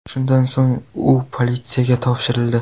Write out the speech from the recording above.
Shundan so‘ng u politsiyaga topshirildi.